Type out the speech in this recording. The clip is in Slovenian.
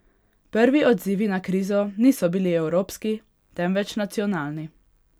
Prvi odzivi na krizo niso bili evropski, temveč nacionalni.